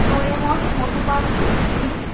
Doraemon Motu -Patlu Bheem --